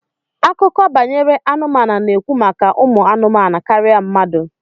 Akụkọ banyere anụmanụ na-ekwu maka umu anumanu karịa mmadụ